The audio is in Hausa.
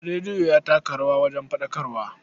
Rediyo ya taka rawa wajen faɗakarwa.